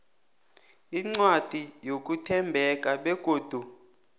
incwadi yokuthembeka begodu